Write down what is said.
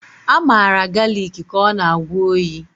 A maara galịk ka ọ na-agwọ oyi.